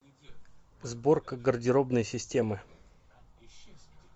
сборка гардеробной системы